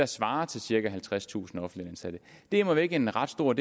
svarer til cirka halvtredstusind offentligt ansatte det er immer væk en ret stor